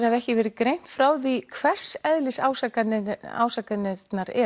hafi ekki verið greint frá því hvers eðlis ásakanirnar ásakanirnar